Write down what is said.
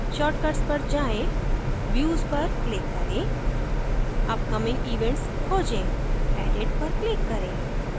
shortcuts पर जाएँ views पर click करें upcoming events खोजें edit पर click करें